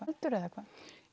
heldur eða hvað